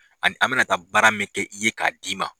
Ani an bɛ na taa baara min kɛ i ye k'a d'i ma.